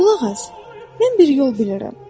Qulaq as, mən bir yol bilirəm.